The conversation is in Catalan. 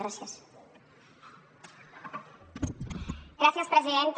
gràcies presidenta